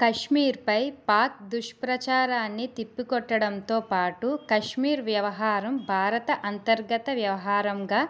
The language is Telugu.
కశ్మీర్పై పాక్ దుష్ప్రచారాన్ని తిప్పికొట్టడంతో పాటు కశ్మీర్ వ్యవహారం భారత అంతర్గత వ్యవహారంగా